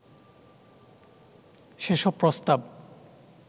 সেসব প্রস্তাব